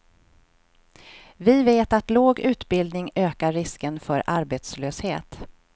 Vi vet att låg ubildning ökar risken för arbetslöshet.